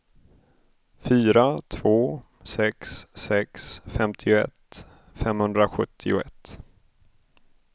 fyra två sex sex femtioett femhundrasjuttioett